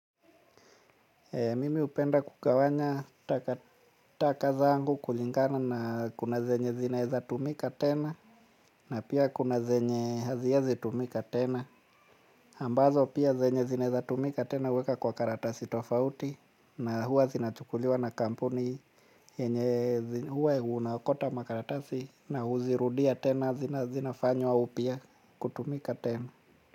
Mimi hupenda kugawanya taka zangu kulingana na kuna zenye zinaeza tumika tena na pia kuna zenye haziezi tumika tena ambazo pia zenye zinaeza tumika tena uweka kwa karatasi tofauti na huwa zinachukuliwa na kampuni huwa unaokota makaratasi na huzirudia tena zina zinafanywa upia kutumika tena.